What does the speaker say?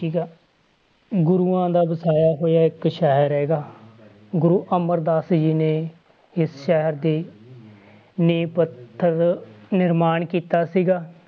ਠੀਕ ਆ ਗੁਰੂਆਂ ਦਾ ਵਸਾਇਆ ਹੋਇਆ ਇੱਕ ਸ਼ਹਿਰ ਹੈਗਾ ਗੁਰੂ ਅਮਰਦਾਸ ਜੀ ਨੇ ਇਸ ਸ਼ਹਿਰ ਦੀ ਨੀਂਹ ਪੱਥਰ ਨਿਰਮਾਣ ਕੀਤਾ ਸੀਗਾ